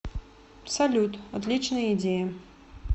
салют отличная идея